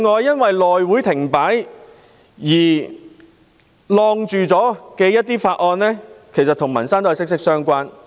因內會停擺而被延擱處理的法案都與民生息息相關。